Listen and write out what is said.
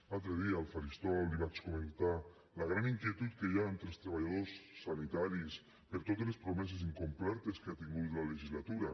l’altre dia al faristol li vaig comentar la gran inquietud que hi ha entre els treballadors sanitaris per totes les promeses incomplertes que ha tingut la legislatura